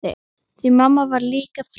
Því mamma var líka frek.